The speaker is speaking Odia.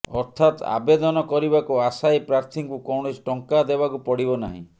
ଅର୍ଥାତ୍ ଆବେଦନ କରିବାକୁ ଆଶାୟୀ ପ୍ରାର୍ଥୀଙ୍କୁ କୌଣସି ଟଙ୍କା ଦେବାକୁ ପଡିବ ନାହିଁ